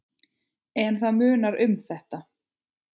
En það munar um þetta.